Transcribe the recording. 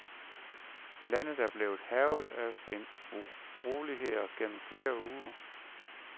Landet er blevet hærget af en uroligheder gennem flere uger.